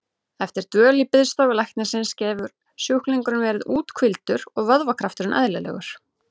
Eftir dvöl í biðstofu læknisins getur sjúklingurinn verið úthvíldur og vöðvakrafturinn eðlilegur.